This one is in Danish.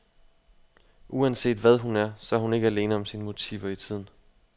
Uanset hvad hun er, så er hun ikke alene om sine motiver i tiden.